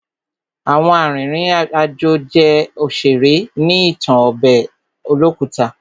Àwọn arìnrìn àjò jẹ́ òṣèré ní ìtàn ọbẹ̀ olókùta.